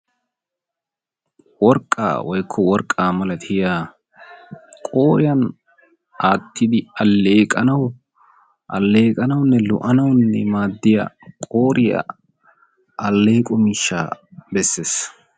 Worqqa woykko worqqaa malattiya qooriyan aatidi alleeqqanawu, alleqqanawunne lo"anawunne maadiyaa qooriya alleeqqo miishshaa bessees.